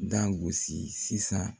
Da gosi sisan